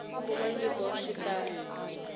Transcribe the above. kuma nyiko swi ta n